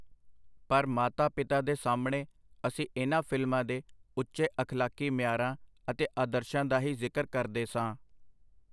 ਪਰ ਮਾਤਾ-ਪਿਤਾ ਦੇ ਸਾਹਮਣੇ ਅਸੀਂ ਇਹਨਾਂ ਫਿਲਮਾਂ ਦੇ ਉੱਚੇ ਅਖਲਾਕੀ ਮਿਆਰਾਂ ਅਤੇ ਆਦਰਸ਼ਾਂ ਦਾ ਹੀ ਜ਼ਿਕਰ ਕਰਦੇ ਸਾਂ.